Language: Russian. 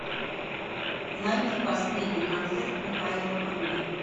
найди последний концерт михаила круга